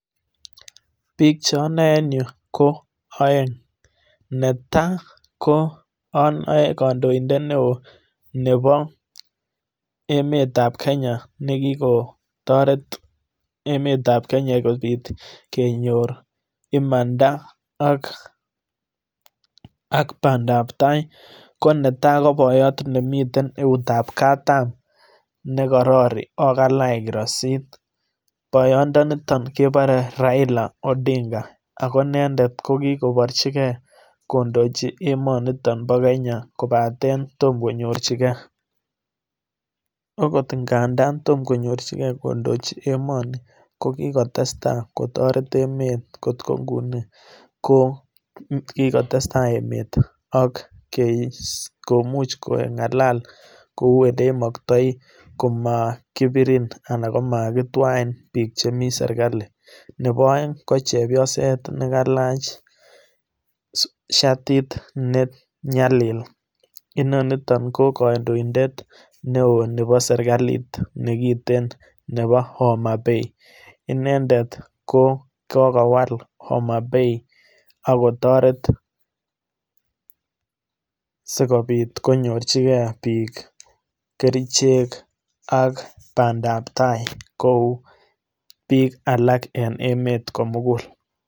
Bik che onoe en yuu ko oeng, netai ko onoe kondoindet neo nebo emet tab kenya nekikotoretemet tab kenya kobit kenyor imanda ak pandap tai ko netai ko boiyot nemiten eut ab katam nekorori o kalach iroisit, boiyo ndoniton kekuren Raila Odinga ako inende kokikoborji gee kondochi emo niton bo kenya kopaten tom konyorji gee, akot ingandan tom konyorjigee kondoji emonii kokikotesta kotoret emet kot ko iguni ko kikotestai emet ak kemuch kengalal kou ole imogtoi komokipirin anan komakitwai bik chemii sirkali, nebo oeng ko chepyoset nekailach shatit nenyalil inoniton ko kondoidet neo nebo sirkalit nekiten nebo Oma bei inendet ko kokowal oma bei ak kotoret sikopit konyorji gee bik kerichek ak pandap tai kou bik alak en emet komukul.